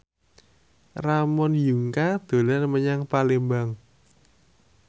Ramon Yungka dolan menyang Palembang